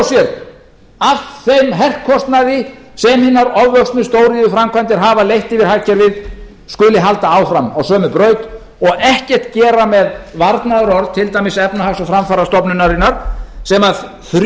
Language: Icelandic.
sér af þeim herkostnaði sem hinar ofvöxnu stóriðjuframkvæmdir hafa leitt yfir hagkerfið skuli halda áfram á sömu braut og ekkert gera með varnaðarorð til dæmis efnahags og framfarastofnunarinnar sem þrjú